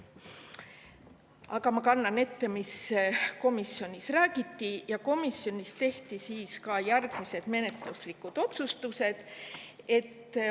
Aga ma kannan ette, mis komisjonis räägiti, ja komisjonis tehti järgmised menetluslikud otsused.